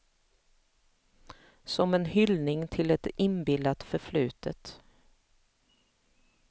Som en hyllning till ett inbillat förflutet.